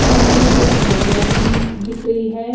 सामने दो गाड़िया भी दिख नी दिख रही हैं अ--